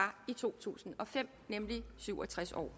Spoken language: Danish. i to tusind og fem nemlig syv og tres år